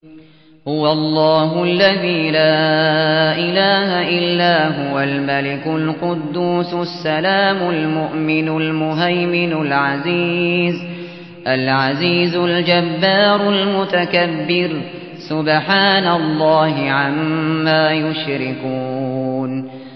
هُوَ اللَّهُ الَّذِي لَا إِلَٰهَ إِلَّا هُوَ الْمَلِكُ الْقُدُّوسُ السَّلَامُ الْمُؤْمِنُ الْمُهَيْمِنُ الْعَزِيزُ الْجَبَّارُ الْمُتَكَبِّرُ ۚ سُبْحَانَ اللَّهِ عَمَّا يُشْرِكُونَ